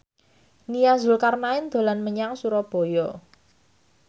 Nia Zulkarnaen dolan menyang Surabaya